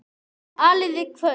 Áliðið kvölds.